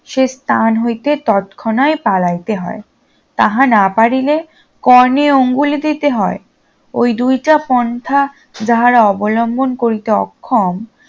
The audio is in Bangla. সে স্থান হইতে তৎক্ষণাৎ পালাইতে হয় তাহা না পারিলে কর্ণে অঙ্গুলি দিতে হয় ওই দুইটা পন্থা যাহারা অবলম্বন করিতে অক্ষম